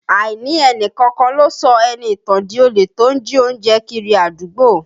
Àìní ẹni kankan lọ sọ Ẹniìtàn di olè tó ń jí oúnjẹ kiri àdúgbò